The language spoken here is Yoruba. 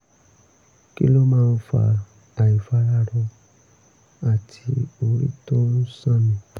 kí ló máa ń fa àìfararọ àti orí tó ń sánni?